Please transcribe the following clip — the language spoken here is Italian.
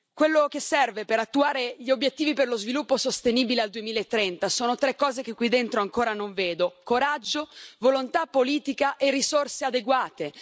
Quello che serve per attuare gli obiettivi di sviluppo sostenibile al 2030 sono tre cose, che qui dentro ancora non vedo coraggio, volontà politica e risorse adeguate.